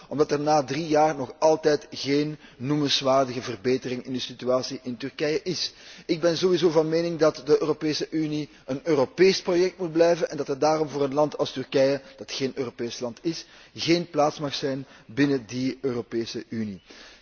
omdat er na drie jaar nog altijd geen noemenswaardige verbetering in de situatie in Turkije is. Ik ben sowieso van mening dat de Europese Unie een Europees project moet blijven, en dat er daarom voor een land als Turkije, wat geen Europees land is, geen plaats mag zijn binnen die Europese Unie.